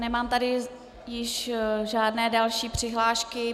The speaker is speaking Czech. Nemám tady již žádné další přihlášky.